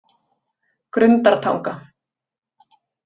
Grundartanga